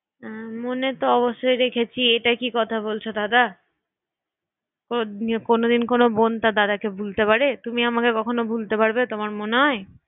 মনে তো অবশ্যই রেখেছি এটা কি কথা বলছো দাদা? কোনো দিন কোনো বোন তার দাদা কে ভুলতে পারে? তুমি আমাকে ভুলতে পারবে তোমার মনে হয়?